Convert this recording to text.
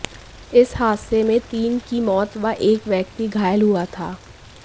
इस हादसे में तीन की मौत व एक व्यक्ति घायल हुआ था